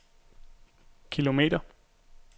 kilometer